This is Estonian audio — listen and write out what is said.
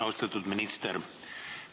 Austatud minister!